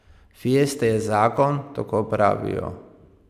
Fiesta je zakon, tako pravijo.